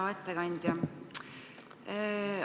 Hea ettekandja!